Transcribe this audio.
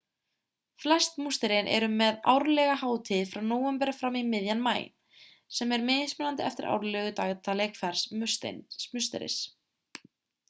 flest musterin eru með árlega hátíð frá nóvember fram í miðjan maí sem er mismunandi eftir árlegu dagatali hvers musteris